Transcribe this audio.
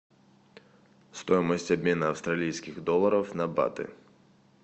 стоимость обмена австралийских долларов на баты